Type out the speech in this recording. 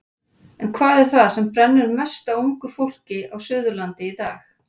En hvað er það sem brennur mest á ungu fólki á Suðurlandi í dag?